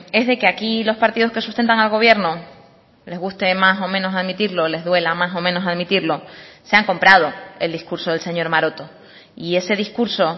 es de que aquí los partidos que sustentan al gobierno les guste más o menos admitirlo les duela más o menos admitirlo se han comprado el discurso del señor maroto y ese discurso